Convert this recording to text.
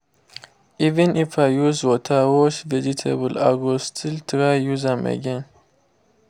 even if i use water wash vegetable i go still try use am again